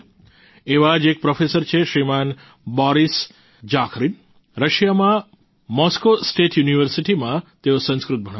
એવા જ એક પ્રોફેસર છે શ્રીમાન બોરિસ જાખરિન રશિયામાં મોસ્કો સ્ટેટ યુનિવર્સિટીમાં તેઓ સંસ્કૃત ભણાવે છે